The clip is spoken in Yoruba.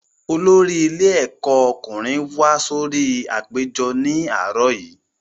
Olórí ilé ẹ̀kọ́ ọkùnrin wá sórí apèjọ ní àárọ̀ yìí